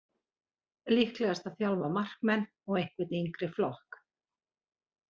Líklegast að þjálfa markmenn og einhvern yngri flokk.